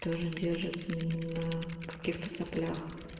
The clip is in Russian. тоже держится на каких-то соплях